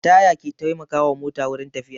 Taya ke taimaka wa mota wurin tafiya